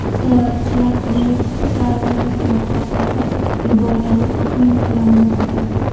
Terrorchilar universitet darvozasini portlatib yuborgani taxmin qilinmoqda.